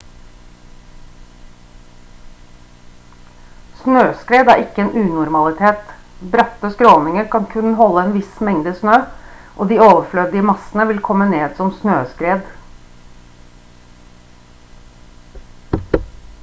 snøskred er ikke en unormalitet bratte skråninger kan kun holde en viss mengde med snø og de overflødige massene vil komme ned som snøskred